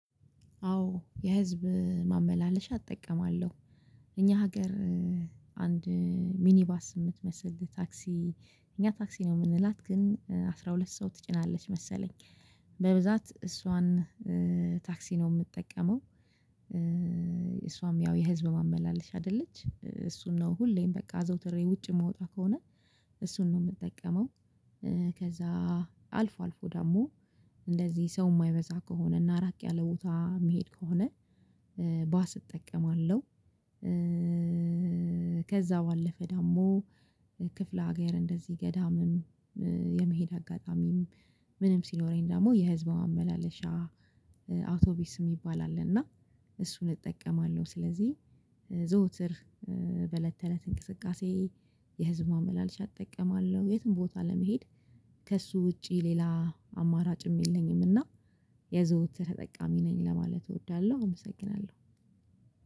አዎ የህዝብ ማመላለሻ እጠቀማለሁ። እኛ ሀገር አንድ ሚኒባስ የምትመስል ታክሲ እኛ ታክሲ ነው የምንላት ግን አስራ ሁለት ሰው ትጭናለች መሰለኝ። በብዛት እሷን ታክሲ ነው የምጠቀመው። እሷም ያው የህዝብ ማመላለሻ አይደለች እሱን ነው ሁሌም በቃ አዘውትሬ ውጭ የምወጣ ከሆነ እሱን ነው የምጠቀመው። አልፎ አልፎ ደግሞ እንደዚህ ሰው የማይበዛ ከሆነ እና ራቅ ያለ ቦታ መሄድ ከሆነ ባስ እጠቀማለሁ። ከዛ ባለፈ ደግሞ ክፍለ ሀገር እንደዚህ ገዳምም የመሄድ አጋጣሚም ምንም ሲኖረኝ ደግሞ የህዝብ ማመላለሻ አውቶቢስ የሚባል አለ። እና እሱን እጠቀማለሁ ስለዚህ። በለተለት እንቅስቃሴ የህዝብ ማመላለሻ እጠቀማለሁ የትም ቦታ ለመሄድ ከእሱ ውጪ ሌላ አማራጭም የለኝም። እና የዘወትር ተጠቃሚ ነኝ ለማለት እወዳለሁ። አመሰግናለሁ